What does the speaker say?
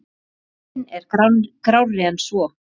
Ímyndin er grárri en svo.